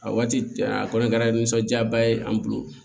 A waati a kɔni kɛra nisɔndiyaba ye an bolo